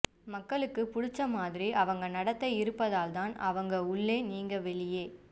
மக்களுக்கு புடிச்ச மாதிரி அவங்க நடத்தை இருப்பதால்தான் அவங்க உள்ளே நீங்க வெளியே